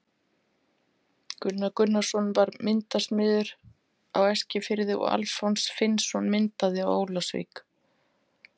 Gunnar Gunnarsson var myndasmiður á Eskifirði og Alfons Finnsson myndaði á Ólafsvík.